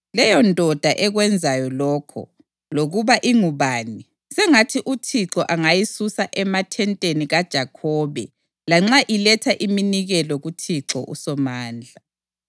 Leyondoda ekwenzayo lokho, lokuba ingubani, sengathi uThixo angayisusa emathenteni kaJakhobe lanxa iletha iminikelo kuThixo uSomandla.